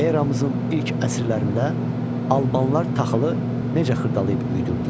Eramızın ilk əsrlərində albanlar taxılı necə xırdalayıb üyüdürdülər?